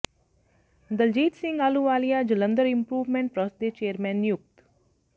Daljit Singh Ahluwalia Jalandhar improvement trust ਦੇ chairman ਨਿਯੁਕਤ